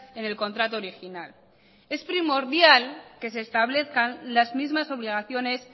en el contrato original es primordial que se establezcan las mismas obligaciones